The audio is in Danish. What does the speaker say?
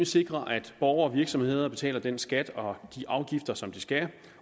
sikre at borgere og virksomheder betaler den skat og de afgifter som de skal